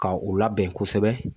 Ka u labɛn kosɛbɛ